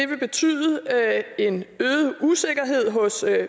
vil betyde en øget usikkerhed hos